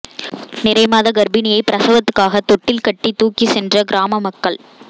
நிறைமாத கா்ப்பிணியை பிரசவத்துக்காக தொட்டில் கட்டி தூக்கிச் சென்ற கிராம மக்கள்